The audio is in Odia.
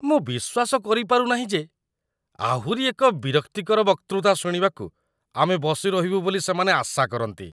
ମୁଁ ବିଶ୍ୱାସ କରିପାରୁ ନାହିଁ ଯେ ଆହୁରି ଏକ ବିରକ୍ତିକର ବକ୍ତୃତା ଶୁଣିବାକୁ ଆମେ ବସିରହିବୁ ବୋଲି ସେମାନେ ଆଶା କରନ୍ତି।